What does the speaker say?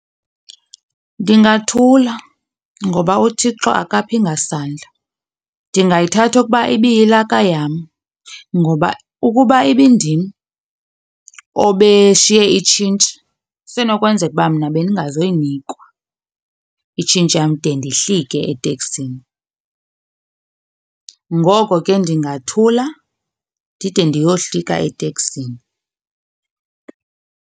Ndingathula ngoba uThixo akaphi ngasandla. Ndingayithatha okuba ibiyilaka yam ngoba ukuba ibindim obeshiye itshintshi, isenokwenzeka uba mna bendingazoyinikwa itshintshi yam de ndihlike eteksini. Ngoko ke ndingathula ndide ndiyohlika eteksini.